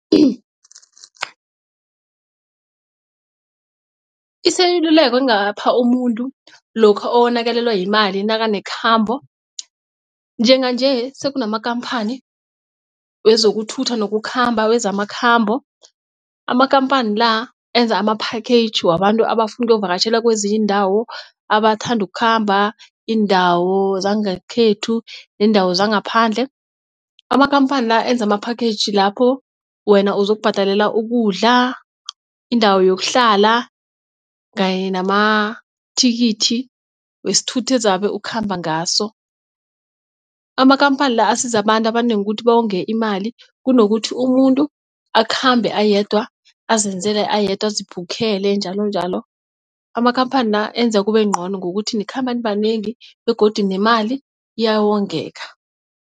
Iseluleko engapha umuntu lokha owonakalelwa yimali nakanekhambo njenganje sekunamakhamphani wezokuthutha nokukhamba wezamakhambo. Amakhamphani la enza ama-package wabantu abafuna ukuyokuvakatjhela kwezinye iindawo abathanda ukukhamba iindawo zangekhethu neendawo zangaphandle. Amakhamphani la enza ama-package lapho wena uzokubhadala ukudla indawo yokuhlala kanye namathikithi wesithuthi ezabe ukhamba ngaso. Amakhamphani la asiza abantu abanengi ukuthi bawonge imali kunokuthi umuntu akhambe ayedwa azenzele ayedwa azibhukhele njalonjalo. Amakhamphani la enza kube ngcono ngokuthi nikhamba nibanengi begodu nemali ayawongeka.